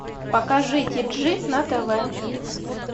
покажи тиджи на тв